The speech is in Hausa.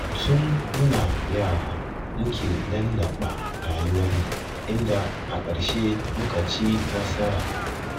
Tun muna yara muke lallaɓa rayuwarmu, inda a ƙarshe muka ci nasara.